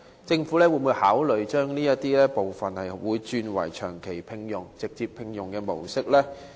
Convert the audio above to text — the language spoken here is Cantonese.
政府會否考慮將部分外判員工轉為長期聘用或直接聘用的僱員？